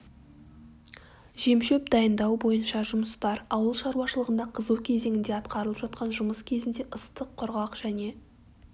жемшөп дайындау бойынша жұмыстар ауыл шаруашылығында қызу кезеңінде атқарылып жатқан жұмыс кезінде ыстық құрғақ және